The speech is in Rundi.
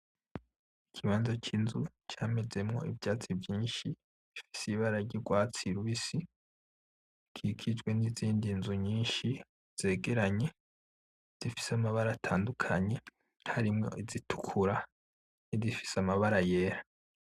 Ikibanza cy'inzu camezemo ivyatsi vyinshi bifise ibara ry'urwatsi rubisi, ikikijwe n'izindi nzu nyinshi zegeranye zifise amabara atandukanye harimo izitukura, nizifise amabara yera.